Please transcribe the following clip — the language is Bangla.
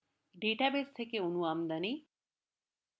ডাটাবেস থেকে আমদানি অণু